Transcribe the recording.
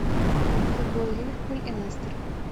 футбол ливерпуль и лестер